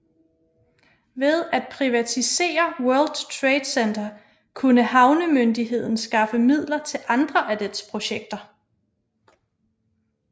Ved at privatisere World Trade Center kunne havnemyndigheden skaffe midler til andre af dets projekter